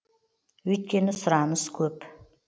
өйткені сұраныс көп